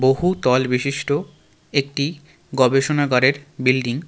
বহু তল বিশিষ্ট একটি গবেষণাগারের বিল্ডিং .